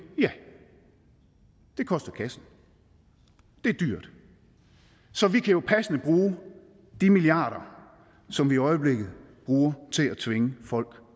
ja det koster kassen det er dyrt så vi kan jo passende bruge de milliarder som vi i øjeblikket bruger til at tvinge folk